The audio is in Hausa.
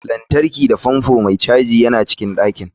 Lantarki da fanfo mai caji yana cikin ɗakin.